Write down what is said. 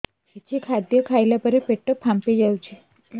କିଛି ଖାଦ୍ୟ ଖାଇଲା ପରେ ପେଟ ଫାମ୍ପି ଯାଉଛି